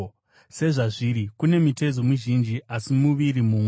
Sezvazviri, kune mitezo mizhinji asi muviri mumwe.